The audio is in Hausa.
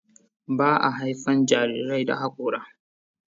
Ba a haifan jarirai da hakora.